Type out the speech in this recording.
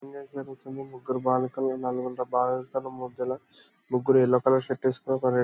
జరుగుతుంది. ముగ్గురు బాలికల్ని నలుగురు ముగ్గుల- ముగ్గురు యెల్లో కలర్ షర్ట్ వేసుకొని ఒకరు రే--